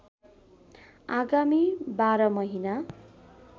आगामी १२ महिना